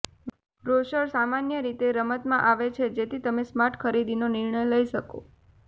brochures સામાન્ય રીતે રમતમાં આવે છે જેથી તમે સ્માર્ટ ખરીદીનો નિર્ણય લઈ શકો